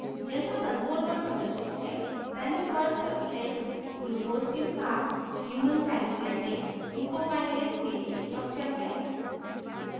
जैसा console पर प्रदर्शित है panel पर substrate glucose के साथ human pancreatic glucokinase के लिए structure है